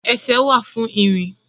Ẹsẹ̀ wà fún ìrìn